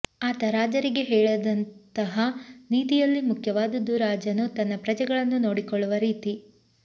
ಆತ ರಾಜರಿಗೆ ಹೇಳಿದಂತಹ ನೀತಿಯಲ್ಲಿ ಮುಖ್ಯವಾದದ್ದು ರಾಜನು ತನ್ನ ಪ್ರಜೆಗಳನ್ನು ನೋಡಿಕೊಳ್ಳುವ ರೀತಿ